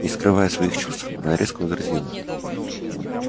не скрывая своих чувств она резко возразила